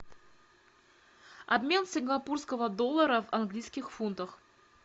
обмен сингапурского доллара в английских фунтах